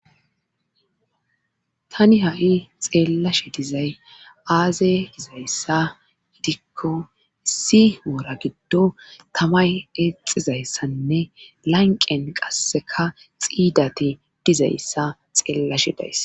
tani ha7i xeellashe dizay aaze dizayssa hidikko issi oora giddo tamay exizayssanne lanqen qasseka xiidati dizayssa xeellashe dayssa